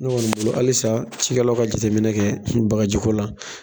Ne kɔni bolo halisa cikɛlaw ka jate minɛ kɛ bagaji ko la.